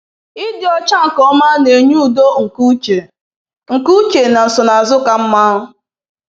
Ịdị ọcha nke ọma na-enye udo nke uche nke uche na nsonaazụ ka mma.